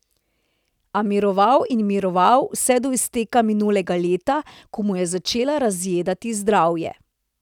A miroval in miroval, vse do izteka minulega leta, ko mu je začel razjedati zdravje.